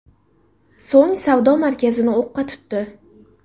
So‘ng savdo markazini o‘qqa tutdi.